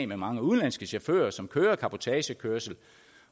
mange udenlandske chauffører som kører cabotagekørsel